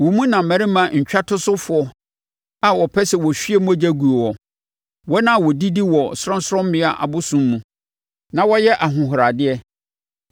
Wo mu na mmarima ntwatosofoɔ a wɔpɛ sɛ wɔhwie mogya guo wɔ, wɔn a wɔdidi wɔ sorɔnsorɔmmea abosonnan mu, na wɔyɛ ahohoradeɛ.